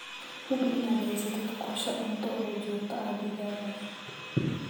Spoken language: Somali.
Hubi inaad haysatid qorshe cunto oo joogto ah digaagga.